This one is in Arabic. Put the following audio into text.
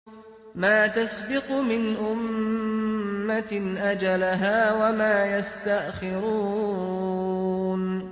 مَّا تَسْبِقُ مِنْ أُمَّةٍ أَجَلَهَا وَمَا يَسْتَأْخِرُونَ